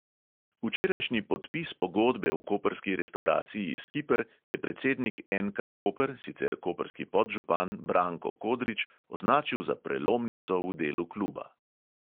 Včerajšnji podpis pogodbe v koprski restavraciji skiper je predsednik NK koper, sicer koprski podžupan, branko kodrič, označil za prelomnico v delu kluba.